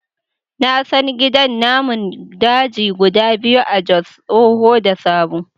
Na san gidan namun daji guda biyu a Jos, tsoho da sabo.